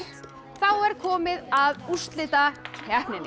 þá er komið að úrslitakeppninni